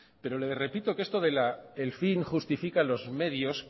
pero le repito que esto de que el fin justifica los medios